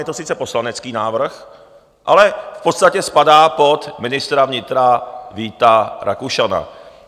Je to sice poslanecký návrh, ale v podstatě spadá pod ministra vnitra Víta Rakušana.